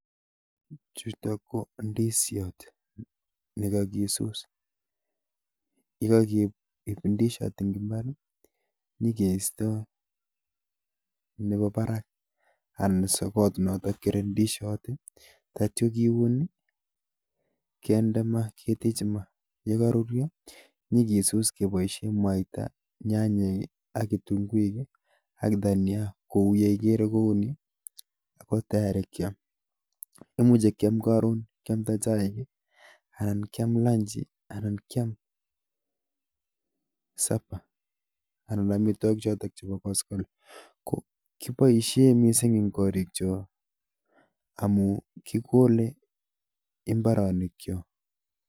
Chutok ko ndishot nekakisus. Yekakeip ndishot eng mbar nyekeito nebo barak anan sokot notok kerei ndishot. Atio kiun kende maa, ketechi maa yekakoruryo nyekesus keboishe mwaita, nyanyek ak kitunguik ak dhania, kouyo ikere kouni, ko tayari kiam. Imuchi kiam karon, kiamta chaik ,kiam lunch anan kiam super, anan amitwagik chotok chebo koskoling. Kiboishe mising eng gaa amun kikole eng mbarenikchok